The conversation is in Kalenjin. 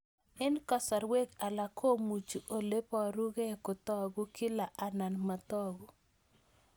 Eng' kasarwek alak komuchi ole parukei kotag'u kila anan matag'u